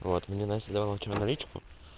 вот мне настя давала вчера наличку